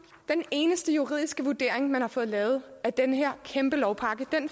den eneste juridiske vurdering man har fået lavet af den her kæmpe lovpakke